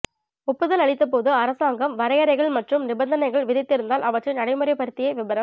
ஒப்புதல் அளித்தபோது அரசாங்கம் வரையறைகள் மற்றும் நிபந்தனைகள் விதித்திருந்தால் அவற்றை நடைமுறைப்படுத்திய விபரம்